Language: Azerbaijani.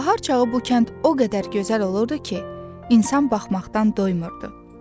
Bahar çağı bu kənd o qədər gözəl olurdu ki, insan baxmaqdan doymurdu.